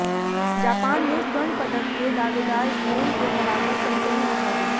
Japan ने स्वर्ण पदक के दावेदार स्पेन को हराकर सनसनी मचा दी